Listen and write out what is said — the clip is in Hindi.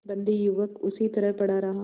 बंदी युवक उसी तरह पड़ा रहा